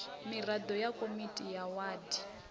miraḓo ya komiti ya wadi